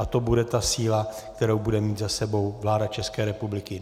A to bude ta síla, kterou bude mít za sebou vláda České republiky.